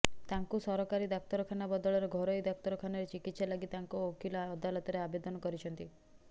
ତାଙ୍କୁ ସରକାରୀ ଡାକ୍ତରଖାନା ବଦଳରେ ଘରୋଇ ଡାକ୍ତରଖାନାରେ ଚିକିତ୍ସା ଲାଗି ତାଙ୍କ ଓକିଲ ଅଦାଲତରେ ଆବେଦନ କରିଛନ୍ତି